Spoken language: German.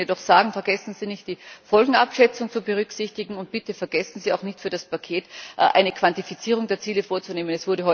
Ich möchte Ihnen jedoch sagen Vergessen Sie nicht, die Folgenabschätzung zu berücksichtigen, und bitte,, vergessen Sie auch nicht, für das Paket eine Quantifizierung der Ziele vorzunehmen.